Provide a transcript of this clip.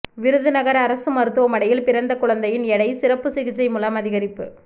விருதுநகா் அரசு மருத்துவமனையில் பிறந்த குழந்தையின் எடை சிறப்பு சிகிச்சை மூலம் அதிகரிப்பு